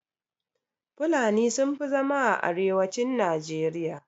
Fulani sun fi zama a arewacin najeriya.